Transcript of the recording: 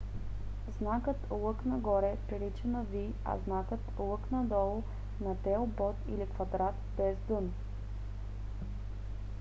знакът лък нагоре прилича на v а знакът лък надолу на телбод или квадрат без дъно